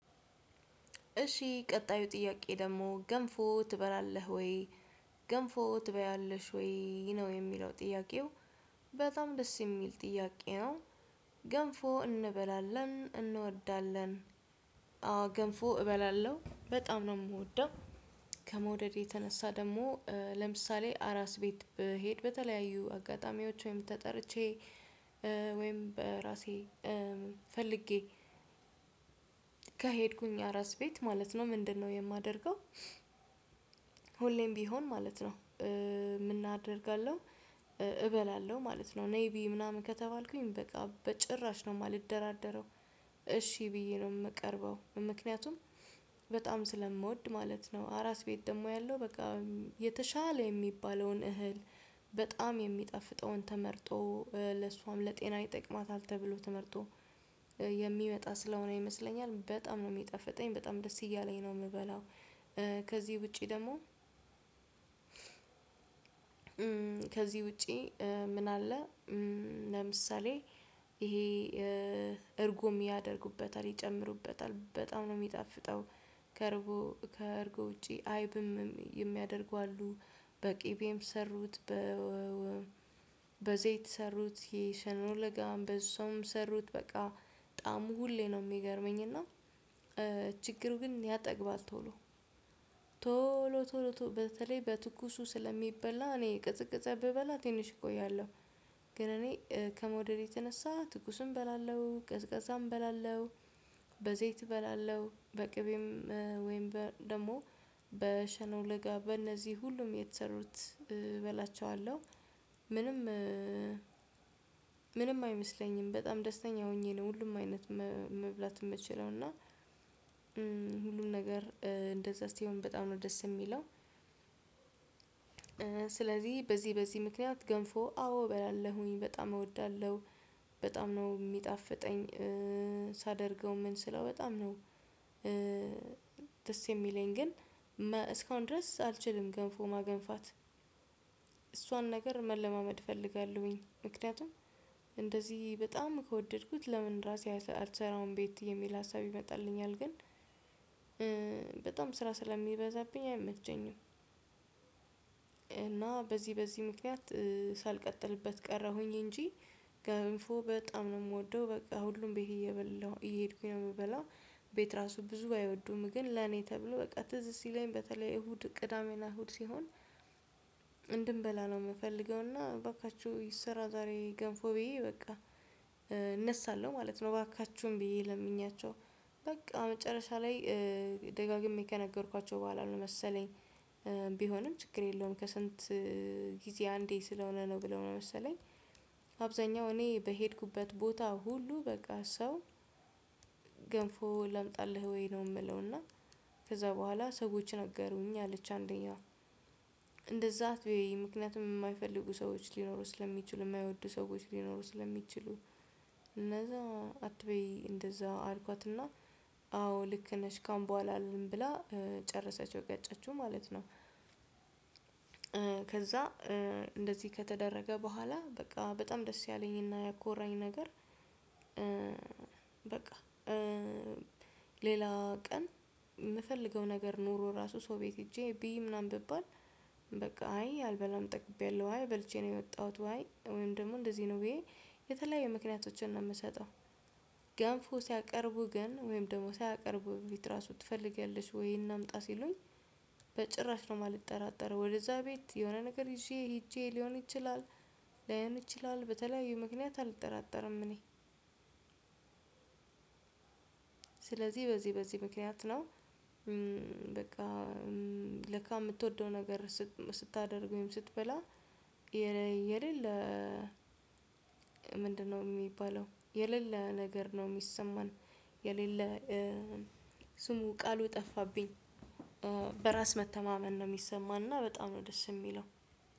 እሺ ቀጣዩ ጥያቄ ደግሞ ገንፎ ትበላለህ ወይ? ገንፎ ትበያለሽ ወይ? ነው የሚለው ጥያቄው በጣም ደስ የሚል ጥያቄ ነው ገንፎ እንበላለን እንወዳለን አዎ ገንፎ እበላለሁ በጣም ነው የምወደው ከመውደድ የተነሳ ደግሞ ለምሳሌ አራስ ቤት ብሄድ በተለያዩ አጋጣሚዎች ወይም ተጠርቼ ወይም በራሴ ፈልጌ ከሄድኩኝ አራስ ቤት ማለት ነው ምንድነው የማደርገው ሁሌም ቢሆን ማለት ነው ምን አደርጋለው እበላለሁ ማለት ነው ነይ ብይ ምናምን ከተባልኩኝ በቃ በጭራሽ ነው የማልደራደረው እሺ ብዬ ነው የምቀርበው ምክንያቱም በጣም ስለምወድ ማለት ነው አራስ ቤት ደግሞ ያለው በቃ የተሻለ የሚባለውን እህል በጣም የሚጠፍጠውን ተመርጦ ለሷም ለጤና ይጠቅማታል ተብሎ ተመርጦ የሚመጣ ስለሆነ ይመስለኛል በጣም ነው የሚጠፍጠኝ በጣም ደስ እያለኝ ነው የምበላው ከዚህ ውጪ ደግሞ ከዚህ ውጪ ምን አለ ለምሳሌ ይሄ እርጎም ያደርጉበታል ይጨምሩበታል በጣም ነው የሚጣፍጠው ከእርጎ ከርቦ ውጪ አይብም የሚያደርጉ አሉ በቅቤም ሰሩት በ በዘይት ሰሩት ይሄ ሸኖ ለጋም ሰሩት በእሱም ሰሩት በቃ ጣዕሙ ሁሌ ነው የሚገርመኝ እና ችግሩ ግን ያጠግባል ቶሎ ቶሎ ቶሎ በተለይ በትኩሱ ስለሚበላ እኔ የቀዘቀዘ ብበላ ትንሽ እቆያለሁ ግን እኔ ከመውደዴ የተነሳ ትኩስም እበላለሁ ቀዝቃዛም እበላለሁ በዘይት እበላለሁ በቅቤም ወይም ደግሞ በሸኖ ለጋ በእነዚህ ሁሉም የተሠሩት እበላቸዋለሁ ምንም አይመስለኝም በጣም ደስተኛ ሆኜ ነው ሁሉም አይነት መብላት የምችለው እና ሁሉን ነገር እንደዛ ሲሆን በጣም ነው ደስ የሚለው ስለዚህ በዚህ በዚህ ምክንያት ገንፎ አዎ እበላለሁኝ በጣም እወዳለሁ በጣም ነው የሚጣፍጠኝ ሳደርገው ምን ስለው በጣም ነው ደስ የሚለኝ ግን እስካሁን ድረስ አልችልም ገንፎ ማገንፋት እሷን ነገር መለማመድ እፈልጋለሁኝ ምክንያቱም እንደዚህ በጣም ከወደድኩት ለምን ራሴ አልሰራም ቤት የሚል ሀሳብ ይመጣልኛል ግን ስራ ስለሚበዛብኝ አይመቸኝም እና በዚህ በዚህ ምክንያት ሳልቀጥልበት ቀረሁኝ እንጂ ገንፎ በጣም ነው የምወደው በቃ ሁሉም ቤት እየበላሁ እየሄድኩኝ ነው የምበላው ቤት ራሱ ብዙ አይወዱም ግን ለኔ ተብሎ በቃ ትዝት ሲለኝ በተለይ እሁድ ቅዳሜና እሁድ ሲሆን እንድንበላ ነው የምፈልገው እና እባካችሁ ስራ ዛሬ ገንፎ ብዬ በቃ እነሳለሁ ማለት ነው እባካችሁን ብዬ ለምኛቸው በቃ መጨረሻ ላይ ደጋግሜ ከነገርኳቸው በኋላ ነው መሰለኝ ቢሆንም ችግር የለውም ከስንት ጊዜ አንዴ ስለሆነ ነው ብለው ነው መሰለኝ አብዛኛው እኔ በሄድኩበት ቦታ ሁሉ በቃ ሰው ገንፎ ላምጣልህ ወይ ነው የሚለው እና ከዛ በኋላ ሰዎች ነገሩኝ አለች አንደኛዋ እንደዛ አትበይ ምክንያቱም የማይፈልጉ ሰዎች ሊኖሩ ስለሚችሉ የማይወዱ ሰዎች ሊኖሩ ስለሚችሉ እነዛ አትበይ እንደዛ አልኳትና አዎ ልክ ነሽ ካሁን በኋላ አልልም ብላ ጨርሰችው ቀጨችው ማለት ነው ከዛ እንደዚህ ከተደረገ በኋላ በቃ በጣም ደስ ያለኝና ያኮራኝ ነገር በቃ ሌላ ቀን የምፈልገው ነገር ኖሮ ራሱ ሰው ቤት ሄጄ ብይ ምናምን ብባል በቃ አይ አልበላም ጠግቤያለሁ ዋይ በልቼ ነው የወጣሁት ዋይ ወይም ደግሞ እንደዚህ ነው ብዬ የተለያዩ ምክንያቶችን ነው የምሰጠው ገንፎ ሲያቀርቡ ግን ወይም ደግሞ ሲያቀርቡ ቢጥራሱ ትፈልጋለች ወይ እናምጣ ሲሉኝ በጭራሽ ነው የማልጠራጠረው ወደዛ ቤት የሆነ ነገር ይዤ ሄጄ ሊሆን ይችላል ላይሆን ይችላል በተለያዩ ምክንያት አልጠራጠርም እኔ ስለዚህ በዚህ በዚህ ምክንያት ነው በቃ ለካ የምትወደው ነገር ስታደርገው ወይም ስትበላ የሌለ ምንድነው የሚባለው የሌለ ነገር ነው የሚሰማን የሌለ ስሙ ቃሉ ጠፋብኝ በራስ መተማመን ነው የሚሰማና በጣም ነው ደስ የሚለው